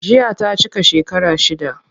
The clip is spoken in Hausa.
Jiya ta cika shekara shida.